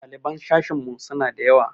Ɗaliban sashinmu suna da yawa.